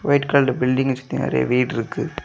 White colour building இருக்கு நெறைய வீடு இருக்கு.